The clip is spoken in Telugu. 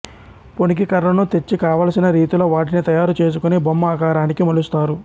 పొనికి కర్రను తెచ్చి కావలసిన రీతిలో వాటిని తయారు చేసుకొని బొమ్మ ఆకారానికి మలుస్తారు